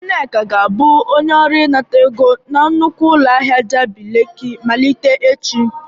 Nneka ga-abụ onye ọrụ inata ego na nnukwu ụlọ ahịa Jabị leki malite echi.